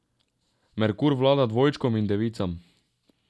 Merkur vlada dvojčkom in devicam.